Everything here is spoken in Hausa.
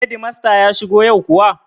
Hedimasta ya shigo yau kuwa?